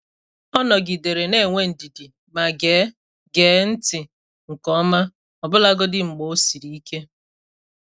Ọ nọgidere na-enwe ndidi ma gee gee ntị nke ọma, ọbụlagodi mgbe ọ siri ike.